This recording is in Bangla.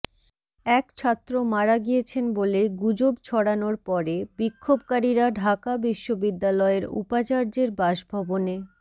এক ছাত্র মারা গিয়েছেন বলে গুজব ছড়ানোর পরে বিক্ষোভকারীরা ঢাকা বিশ্ববিদ্যালয়ের উপাচার্যের বাসভবনে